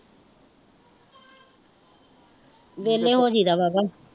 ਵੇਹਲੇ ਹੋਜੀ ਦਾ ਵਾਵਾਂ